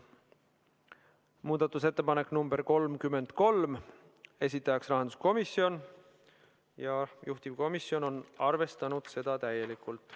Muudatusettepanek nr 33, esitajaks on taas rahanduskomisjon, juhtivkomisjon on arvestanud seda täielikult.